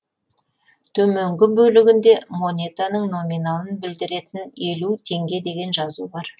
төменгі бөлігінде монетаның номиналын білдіретін елу теңге деген жазу бар